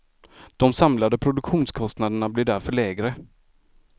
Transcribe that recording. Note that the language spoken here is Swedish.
De samlade produktionskostnaderna blir därför lägre.